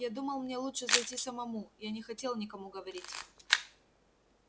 я думал мне лучше зайти самому я не хотел никому говорить